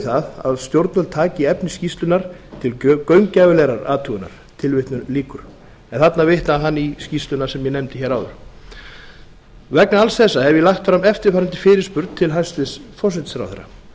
það að stjórnvöld taki efni skýrslunnar til gaumgæfilegrar athugunar tilvitnun lýkur en þarna vitnaði hann í skýrsluna sem ég nefndi hér áður vegna alls þessa hef ég lagt fram eftirfarandi fyrirspurn til hæstvirts forsætisráðherra